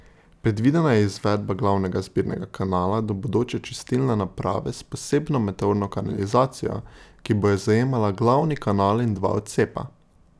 Predvidena je izvedba glavnega zbirnega kanala do bodoče čistilne naprave s posebno meteorno kanalizacijo, ki bo zajemala glavni kanal in dva odcepa.